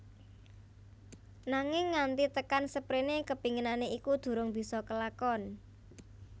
Nanging nganti tekan seprene kepinginane iku durung bisa kelakon